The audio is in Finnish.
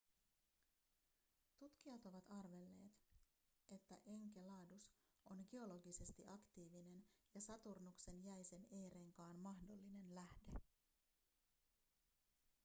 tutkijat ovat arvelleet että enceladus on geologisesti aktiivinen ja saturnuksen jäisen e-renkaan mahdollinen lähde